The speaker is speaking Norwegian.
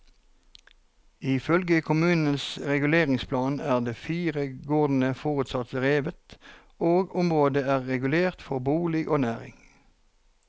Ifølge kommunens reguleringsplan er de fire gårdene forutsatt revet, og området er regulert for bolig og næring.